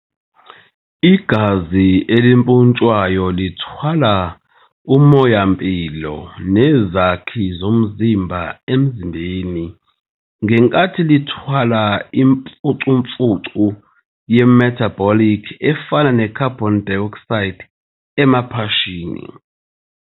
Igazi elimpontshwayo lithwala umoya-mpilo nezakhi zomzimba emzimbeni, ngenkathi lithwala imfucumfucu ye-metabolic efana ne-carbon dioxide emaphashini.